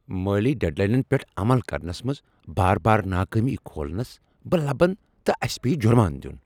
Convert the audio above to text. مٲلی ڈیڈ لاینن پیٹھ عمل کرنس منز بار بار ناکٲمی کھولنس بہٕ لبن تہٕ اسہ پیٚیہ جرمانہٕ دین۔